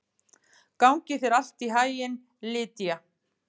Gangi þér allt í haginn, Lýdía.